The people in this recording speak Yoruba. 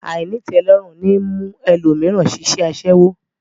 Àìnítẹ̀ẹ́lọ́rùn ní mú ẹlòmíràn ṣiṣẹ́ aṣẹ́wó